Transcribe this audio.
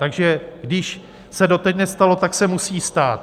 Takže když se doteď nestalo, tak se musí stát.